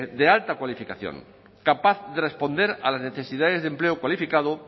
de alta cualificación capaz de responder a las necesidades de empleo cualificado